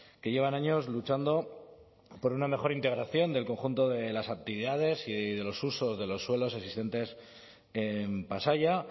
que llevan años luchando por una mejor integración del conjunto de las actividades y de los usos de los suelos existentes en pasaia